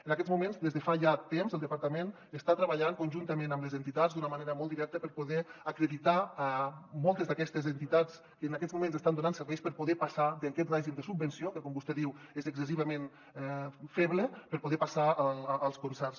en aquests moments des de fa ja temps el departament està treballant conjuntament amb les entitats d’una manera molt directa per poder acreditar moltes d’aquestes entitats que en aquests moments estan donant serveis per poder passar d’aquest règim de subvenció que com vostè diu és excessivament feble per poder passar als concerts